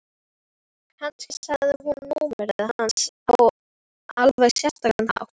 Kannski sagði hún númerið hans á alveg sérstakan hátt.